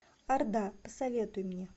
орда посоветуй мне